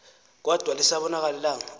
kodwa lisabonakala ilanga